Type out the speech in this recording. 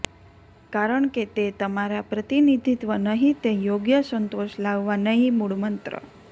કારણ કે તે તમારા પ્રતિનિધિત્વ નહીં તે યોગ્ય સંતોષ લાવવા નહીં મૂળમંત્ર